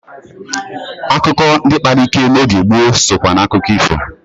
Akukọ ndị kpara ike n'oge gboo sokwa n'akụkọ ifo.